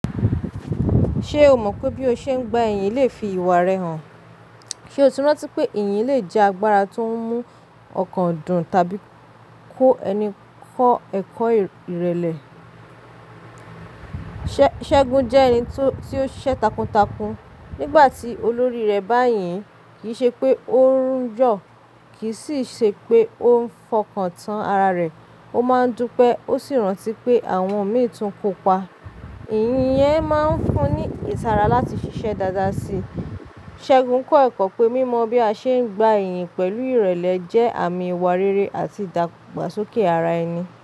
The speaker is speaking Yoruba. Ṣé o mọ̀ pé bí o ṣe ń gba iyìn le fi ìwà rẹ hàn? Ṣé o ti rántí pé iyìn le jẹ́ agbára tó ń mú ọkàn dùn tàbí kó ẹni kọ́ ẹ̀kọ́ ìrẹ̀lẹ̀? Ṣẹ́gun jẹ́ ẹni tí ó ṣẹ́ takuntakun. Nígbà tí olórí rẹ̀ bá yìn, kì í ṣe pé ó ń yọ, kì í sì ṣe pé ó ń fọkàn tán ara rẹ̀. Ó máa ń dúpẹ́, ó sì rántí pé àwọn òmíràn tún kópa. Iyìn yẹn máa ń fún ní ìtara láti ṣiṣẹ́ dáadáa sí i. Ṣẹ́gun kọ́ ẹ̀kọ́ pé mímọ bí a ṣe ń gba iyìn pẹ̀lú ìrẹ̀lẹ̀ jẹ́ àmì ìwà rere àti ìdàgbàsókè ara ẹni.